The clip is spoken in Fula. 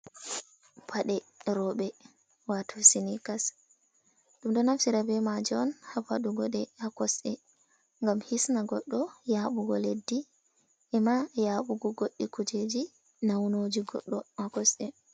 Paɗee rooɓe, waato siniikas ɗum ɗo naftira bee maajum on haa waɗugo ɗe haa kosɗe ngam hisna goɗɗo yaabugo leddi ema yaabugo goɗɗi kujeeji nawnoije goɗɗo haa kosɗe.